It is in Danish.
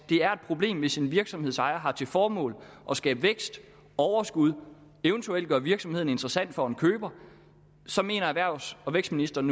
er et problem hvis en virksomhedsejer har til formål at skabe vækst overskud og eventuelt gøre virksomheden interessant for en køber mener erhvervs og vækstministeren